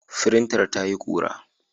Firintar tayi ƙura.